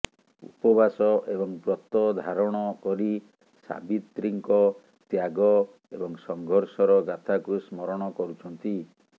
ଉପବାସ ଏବଂ ବ୍ରତ ଧାରଣ କରି ସାବିତ୍ରୀଙ୍କ ତ୍ୟାଗ ଏବଂ ସଂଘର୍ଷର ଗାଥାକୁ ସ୍ମରଣ କରୁଛନ୍ତି